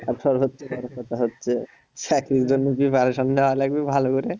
চাকরির জন্যে preparation নেওয়া লাগবে ভালো করে